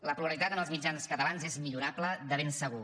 la pluralitat en els mitjans catalans és millorable de ben segur